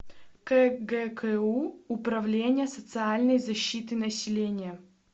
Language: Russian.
кгку управление социальной защиты населения